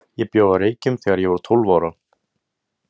Ég bjó á Reykjum þegar ég var tólf ára.